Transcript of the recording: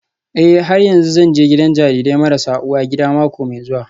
Eh har yanzu zan je gidan jarirai marasa uwa gida mako mai zuwa